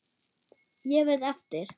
Ég verð eftir.